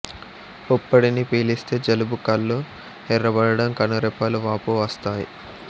పుప్పొడిని పీలిస్తే జలుబు కళ్లు ఎర్రబడడం కను రెప్పలు వాపు వస్తాయి